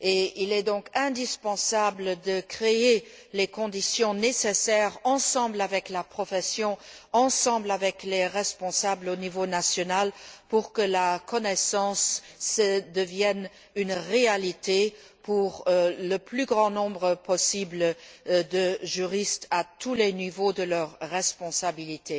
Il est donc indispensable de créer les conditions nécessaires ensemble avec la profession, ensemble avec les responsables au niveau national pour que la connaissance devienne une réalité pour le plus grand nombre possible de juristes à tous les niveaux de leur responsabilité.